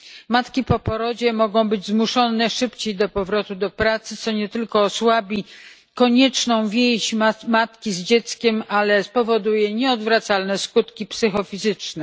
Matki po porodzie mogą być zmuszone do szybszego powrotu do pracy, co nie tylko osłabi konieczną więź matki z dzieckiem, ale spowoduje nieodwracalne skutki psychofizyczne.